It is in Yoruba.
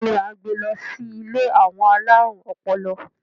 Béèni a n gbè lo sí ilé àwọn alarun ọpọlọ